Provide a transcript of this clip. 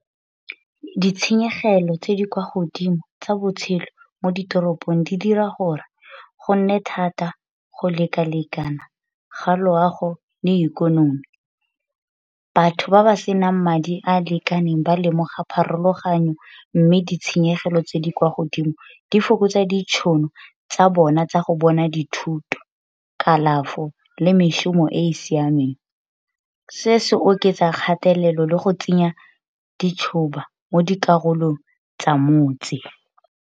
Ditshenyegelo tse di kwa godimo tsa botshelo mo ditoropong di dira gore go nne thata go lekalekana ga loago le ikonomi. Batho ba ba senang madi a a lekaneng ba lemoga pharologanyo mme ditshenyegelo tse di kwa godimo di fokotsa ditšhono tsa bona tsa go bona dithuto, kalafo, le mešomo e e siameng. Se se oketsa kgatelelo le go tsenya mo dikarolong tsa motse.